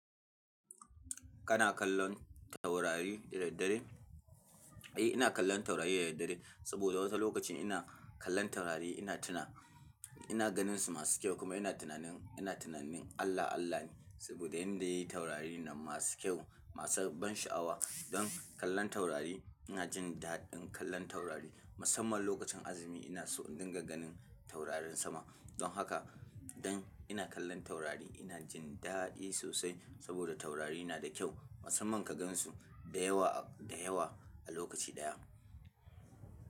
Kana kallon taurari da daddare? Eh, ina kallon taurari da daddare saboda wasu lokacin ina kallon taurari ina tuna, ina ganinsu masu kyau kuma ina tunanin, ina tunanin Allah Allah ne saboda yan da yayi taurari nan masu kyau, masu ban sha'awa. Don kallon taurari ina jin daɗin kallon taurari musamman lokacin azumi ina so in dinga ganin taurarin sama. Don haka dan ina kallon taurari ina jin daɗi sosai saboda taurari na da kyau musamman ka gansu da yawa, da yawa a lokaci ɗaya.